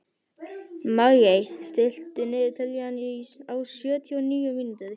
Maggey, stilltu niðurteljara á sjötíu og níu mínútur.